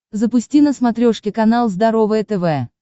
запусти на смотрешке канал здоровое тв